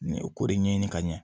Ni ko de ɲɛɲini ka ɲɛ